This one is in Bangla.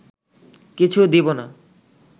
কিছু দিব না